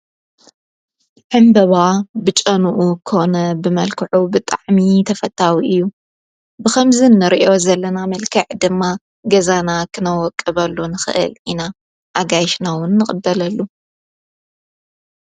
ሕንበባ ብጨኑኡ ኾነ ብመልክዑ ብጣዕሚ ተፈታዊ እዩ ብኸምዝን ርእዮ ዘለና መልከዕ ድማ ገዛና ኽነወቅ በሉን ኽእል ኢና ኣጋይሽናውን ንቕበለሉ።